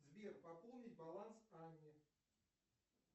сбер пополнить баланс анне